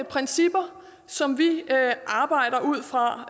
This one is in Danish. principper som vi arbejder ud fra